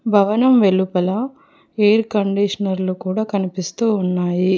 భవనం వెలుపల ఎయిర్ కండిషనర్లు కూడా కనిపిస్తూ ఉన్నాయి.